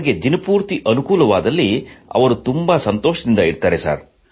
ಅವರಿಗೆ ದಿನ ಪೂರ್ತಿ ಅನುಕೂಲವಾದಲ್ಲಿ ಅವರು ಸಂತೋಷದಿಂದಿರುತ್ತಾರೆ